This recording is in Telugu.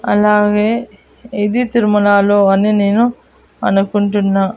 అలాగే ఇది తిరుమలలో అని నేను అనుకుంటున్నా.